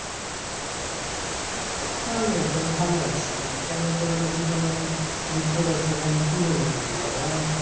আমি ও তো ভালো আছি। কেনে তোর আবার জীবনে দুঃখ কষ্ট কেনে কি হলো রে ওর আবা,